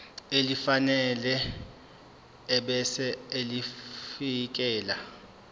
elifanele ebese ulifiakela